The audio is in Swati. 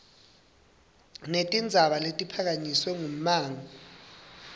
netindzaba letiphakanyiswe ngummango